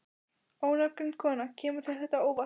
Ónafngreind kona: Kemur þetta þér á óvart?